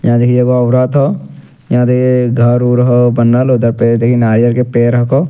यहां देखि एगो औरत हौ यहां देखि घर-उर हौ बन्नल उधर पे देखि नारियल के पेड़ हकौ।